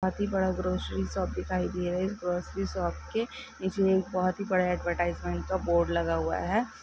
काफी बड़ा grocery shop दिखाई दे रहा है। ग्रोसरी शॉप के नीचे एक बहुत ही बड़ा एडवर्टाइज़मेंट का बोर्ड लगा हुआ है।